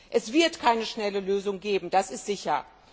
Es wird keine schnelle Lösung geben, das ist sicher.